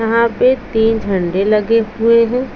यहां पे तीन झंडे लगे हुए हैं।